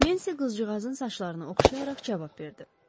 Nensi qızcığazın saçlarını oxşayaraq cavab verdi.